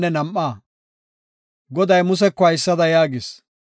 Goday Museko haysada yaagis;